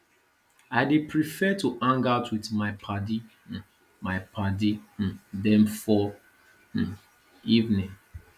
i dey prefer to hang out wit my paddy um my paddy um dem for um evening